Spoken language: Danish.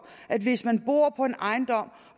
at hvis man bor på en ejendom